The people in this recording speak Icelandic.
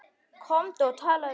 Komdu og talaðu við hann!